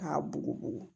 K'a bugubugu